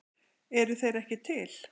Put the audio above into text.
Eru þeir ekki til?